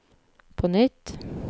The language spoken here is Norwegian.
på nytt